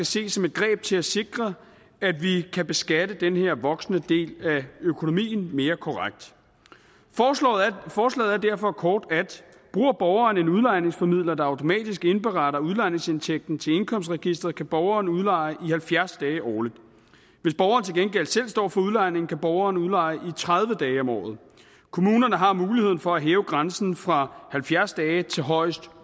ses som et greb til at sikre at vi kan beskatte den her voksende del af økonomien mere korrekt forslaget er derfor kort at bruger borgeren en udlejningsformidler der automatisk indberetter udlejningsindtægten til indkomstregisteret kan borgerne udleje i halvfjerds dage årligt hvis borgeren til gengæld selv står for udlejning kan borgeren udleje i tredive dage om året kommunerne har muligheden for at hæve grænsen fra halvfjerds dage til højst